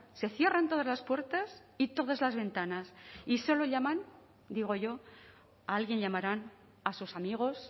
se cierren todas las puertas y todas las ventanas y solo llaman digo yo a alguien llamarán a sus amigos